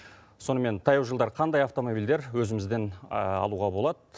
сонымен таяу жылдары қандай автомобильдер өзімізден алуға болад